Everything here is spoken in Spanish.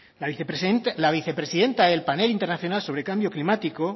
la vicepresidenta del panel internacional sobre cambio climático